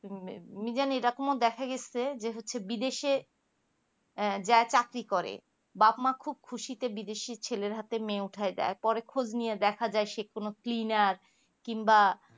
আমি জানি ঐরকমও দেখা গিয়াছে যে হচ্ছে বিদেশে যারা চাকরি করে বাপ্ মা খুব খুশিতে বিদেশের ছেলের ওপরে মেয়ে উঠিয়া দেয় আর পরে খোঁজ নিয়ে দেখা যাই সে কোনো clenar কিংবা